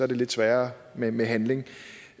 det lidt sværere med med handling